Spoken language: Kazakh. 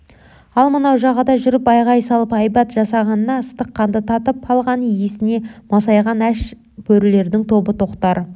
ал мынау жағада жүріп айғай салып айбат жасағанына ыстық қанды татып алған иісіне масайған аш бөрілердің тобы тоқтар